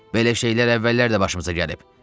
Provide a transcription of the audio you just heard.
"Belə şeylər əvvəllər də başımıza gəlib."